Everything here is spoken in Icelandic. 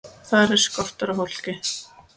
Þar er skortur á fólki.